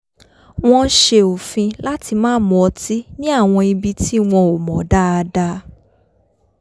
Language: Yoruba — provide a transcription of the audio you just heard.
wọ́n s̩e òfin láti má mu ọtí ní àwọn ibi tí wọn ò mọ̀ dáadáa